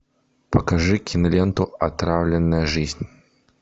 покажи киноленту отравленная жизнь